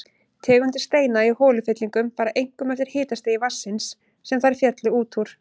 Tegundir steinda í holufyllingum fara einkum eftir hitastigi vatnsins, sem þær féllu út úr.